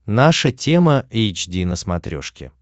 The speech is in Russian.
наша тема эйч ди на смотрешке